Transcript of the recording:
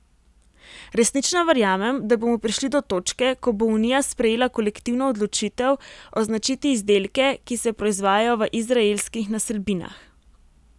Resnično verjamem, da bomo prišli do točke, ko bo unija sprejela kolektivno odločitev označiti izdelke, ki se proizvajajo v izraelskih naselbinah.